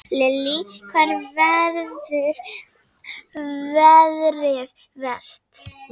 Lillý: Hvar verður veðrið verst?